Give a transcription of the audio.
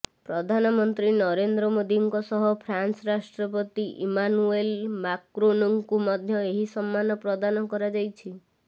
ପ୍ରଧାନମନ୍ତ୍ରୀ ନରେନ୍ଦ୍ର ମୋଦିଙ୍କ ସହ ଫ୍ରାନ୍ସ ରାଷ୍ଟ୍ରପତି ଇମାନୁଏଲ ମାକ୍ରୋନଙ୍କୁ ମଧ୍ୟ ଏହି ସମ୍ମାନ ପ୍ରଦାନ କରାଯାଇଛି